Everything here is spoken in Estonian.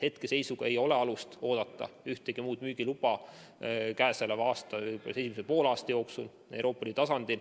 Hetkel ei ole alust oodata mitte ühtegi muud müügiluba selle aasta esimese poole jooksul Euroopa Liidu tasandil.